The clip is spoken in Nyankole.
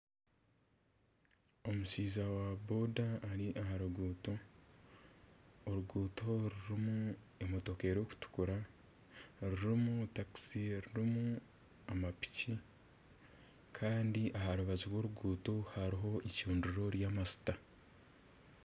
Omushaija wa boda ari aha ruguuto. Oruguuto oru rurimu emotoka erikutukura, rurimu takisi erirumu amapiki. Kandi aha rubaju rw'oruguuto hariho eicundiro ry'amajuta.